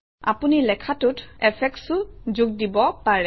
আপুনি লেখাটোত এফেক্টচও যোগ দিব পাৰে